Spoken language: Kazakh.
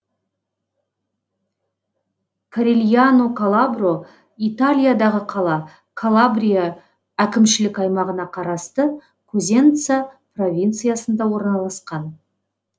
корильяно калабро италиядағы қала калабрия әкімшілік аймағына қарасты козенца провинциясында орналасқан